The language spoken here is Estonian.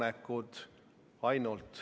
Keit Pentus-Rosimannus, palun!